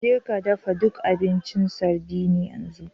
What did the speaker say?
Jeka dafa duk abincin sardine yanzu!